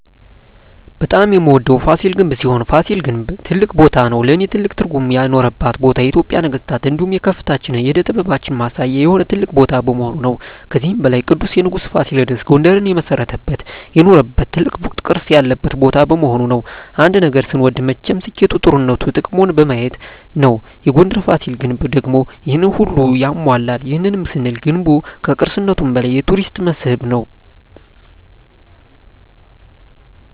በጣም የምወደዉ ፋሲል ግንብ ሲሆን ፋሲል ግን ትልቅ ቦታም ነዉ ለእኔ ትልቅ ትርጉም የኖረባት ቦታ የኢትጵያን የነገስታት እንዲሁም የከፍታችን የእደ ጥበባችን ማሳያ የሆነ ትልቅ ቦታ በመሆኑ ነዉ። ከዚህም በላይ ቅዱሱ ንጉስ ፋሲለደስ ጉንደርን የመሰረተበት የኖረበት ትልቅ ቅርስ ያለበት ቦታ በመሆኑ ነዉ። አንድ ነገር ስንወድ መቸም ስኬቱ ጥሩነቱ ጥቅሙን በማየት ነዉ የጉንደሩ ፋሲል ግንብ ደግሞ ይሄንን ሁሉ ያሟላል ይህንንም ስንል ገንቡ ከቅርስነቱም በላይ የቱሪስት መስህብ ነዉ።